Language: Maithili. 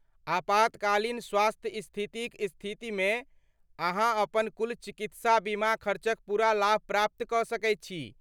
आपातकालीन स्वास्थ्य स्थितिक स्थितिमे अहाँ अपन कुल चिकित्साबीमा खर्चक पूरा लाभ प्राप्त कऽ सकैत छी।